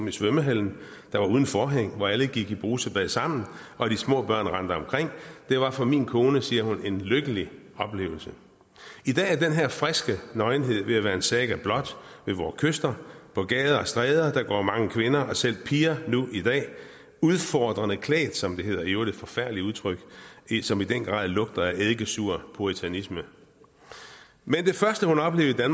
i svømmehallen der var uden forhæng og hvor alle gik i brusebad sammen og de små børn rendte omkring det var for min kone siger hun en lykkelig oplevelse i dag er den her friske nøgenhed ved at være en saga blot ved vore kyster på gader og stræder går mange kvinder og selv piger nu i dag udfordrende klædt som det hedder i øvrigt et forfærdeligt udtryk som i den grad lugter af eddikesur puritanisme men det første hun oplevede